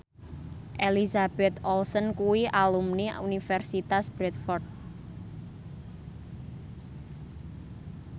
Elizabeth Olsen kuwi alumni Universitas Bradford